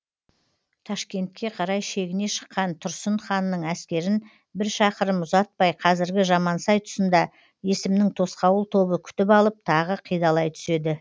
ташкентке қарай шегіне шыққан тұрсын ханның әскерін бір шақырым ұзатпай қазіргі жамансай тұсында есімнің тосқауыл тобы күтіп алып тағы қидалай түседі